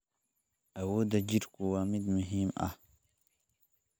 Awoodda jidhku waa mid muhiim ah.